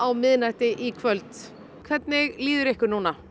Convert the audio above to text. miðnætti í kvöld hvernig líður ykkur